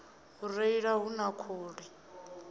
u reila hu na khuli